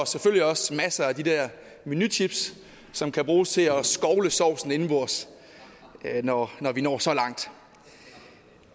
er også masser af de der menychips som kan bruges til at at skovle sovsen indenbords når vi når så langt